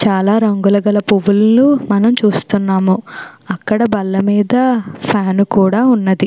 చాలా రంగుల కల పువ్వులని మనం చూస్తూ ఉన్నాము. ఆ అక్కడ బల్ల మీద ఫ్యాన్ కూడా ఉన్నది.